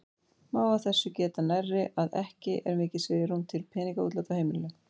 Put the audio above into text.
Má af þessu geta nærri að ekki er mikið svigrúm til peningaútláta úr heimilinu.